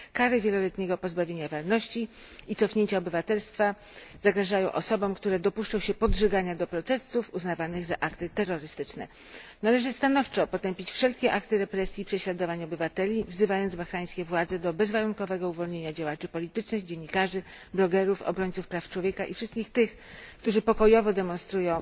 Kary wieloletniego pozbawienia wolności i cofnięcia obywatelstwa zagrażają osobom, które dopuszczą się podżegania do protestów, uznawanych za akty terrorystyczne. Należy stanowczo potępić wszelkie akty represji i prześladowań obywateli i wezwać bahrajńskie władze do bezwarunkowego uwolnienia działaczy politycznych, dziennikarzy, blogerów, obrońców praw człowieka i wszystkich tych, którzy pokojowo demonstrują